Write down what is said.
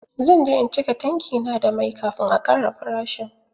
Zan je in cika tanki na da mai kafin a ƙara farashin.